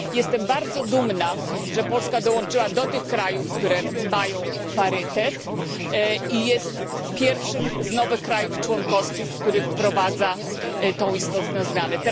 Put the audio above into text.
Jestem bardzo dumna, że Polska dołączyła do tych krajów, które mają parytet i jest pierwszym z nowych państw członkowskich, który wprowadza tę istotną zmianę.